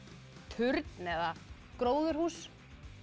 turn eða gróðurhús